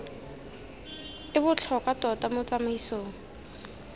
e botlhokwa tota mo tsamaisong